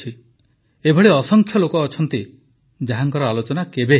ଏପରି ଅସଂଖ୍ୟ ଲୋକ ଅଛନ୍ତି ଯାହାଙ୍କ ଆଲୋଚନା କେବେ ହୋଇପାରିନାହିଁ